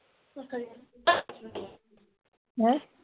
ਹੈਂ